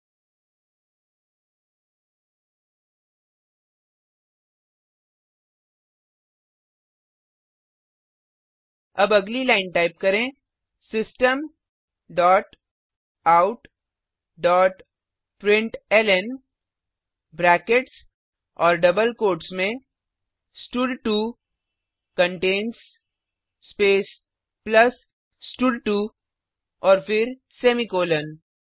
now type next line अब अगली line type करें system dot out dot println brackets और डबल कोट्स में स्टड2 कंटेन्स स्पेस प्लस स्टड2 और फिर सेमीकॉलन